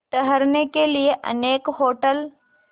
ठहरने के लिए अनेक होटल